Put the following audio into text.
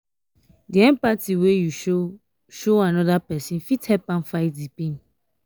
di empathy wey you show show anoda pesin fit help am fight di pain.